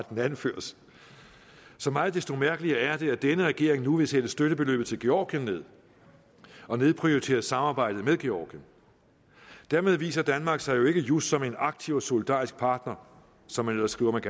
den anføres så meget desto mærkelige er det at denne regering nu vil sætte støttebeløbet til georgien ned og nedprioritere samarbejdet med georgien dermed viser danmark sig jo ikke just som en aktiv og solidarisk partner som man ellers skriver at